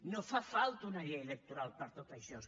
no fa falta una llei electoral per a tot això